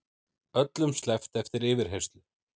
Öllum sleppt eftir yfirheyrslu